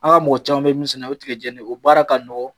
An ga mɔgɔ caman mɛ min sɛnɛ o ye tigɛ jɛni ne ye o baara ka nɔgɔn